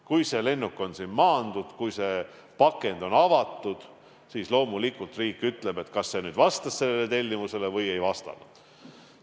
Kui see lennuk on siin maandunud, kui see pakend on avatud, siis loomulikult riik ütleb, kas see vastas tellimusele või ei vastanud.